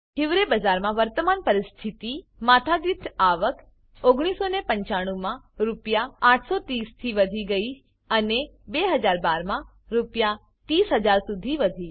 હિવરે બજાર માં વર્તમાન પરિસ્થિતિ માથા દીઠ આવક 1995 માં આરએસ 830 વધીગયી અને 2012 માં આરએસ 30000 સુધી વધી